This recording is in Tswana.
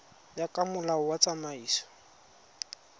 ya ka molao wa tsamaiso